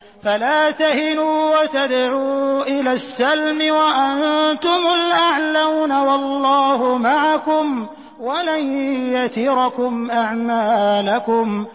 فَلَا تَهِنُوا وَتَدْعُوا إِلَى السَّلْمِ وَأَنتُمُ الْأَعْلَوْنَ وَاللَّهُ مَعَكُمْ وَلَن يَتِرَكُمْ أَعْمَالَكُمْ